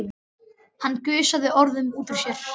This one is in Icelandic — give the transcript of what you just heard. Hann gusaði orðunum út úr sér.